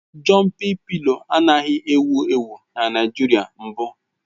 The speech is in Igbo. Jọmpị pịlo anaghị ewu ewu na Naịjirịa mbụ